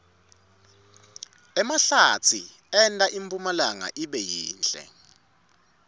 emahlatsi enta impumlanga ibe yinhle